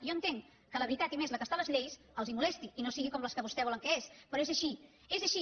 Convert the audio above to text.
jo entenc que la veritat i més la que és a les lleis els molesti i no sigui com la que vostès volen que sigui però és així és així